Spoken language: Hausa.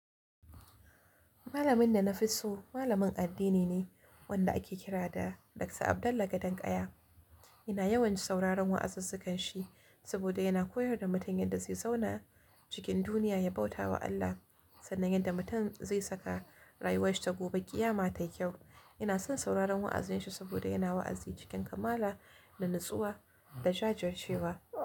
Malamin da na fi so malamin addini ne wanda ake kira da Dr. Abdullah Gadankaya. Ina yawan sauraron wa'azazzukan shi saboda yana koyar da mutaun yadda zai zauna cikin duniya, ya bauta wa Allah sannan yadda mutum zai saka rayuwarsa ta gobe ƙiyama ta yi kyau. Ina son sauraron wa'aziya shi saboda yana wa'azi cikin kamala da natsuwa da jajircewa.